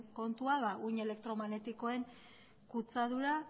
kontua uhin elektromagnetikoen kutsadura